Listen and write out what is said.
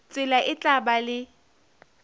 tsela e tla ba le